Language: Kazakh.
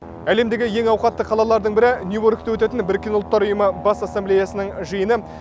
әлемдегі ең ауқатты қалалардың бірі нью йоркте өтетін біріккен ұлттар ұйымы бас ассамблеясының жиыны